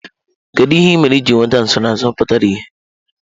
Kedu ihe ị mere iji nweta nsonaazụ pụtara ìhè?